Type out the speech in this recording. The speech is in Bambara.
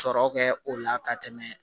Sɔrɔ kɛ o la ka tɛmɛ